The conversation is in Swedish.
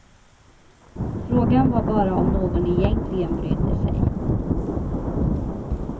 Frågan var bara om någon egentligen brydde sig.